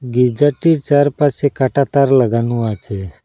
গির্জাটির চারপাশে কাঁটাতার লাগানো আছে।